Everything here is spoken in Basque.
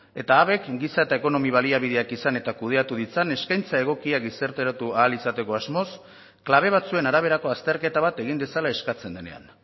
eta habek giza eta ekonomia baliabideak izan eta kudeatu ditzan eskaintza egokiak gizarteratu ahal izateko asmoz kable batzuen araberako azterketa bat egin dezala eskatzen denean